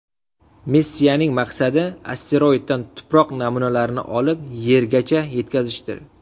Missiyaning maqsadi asteroiddan tuproq namunalarini olib, Yergacha yetkazishdir.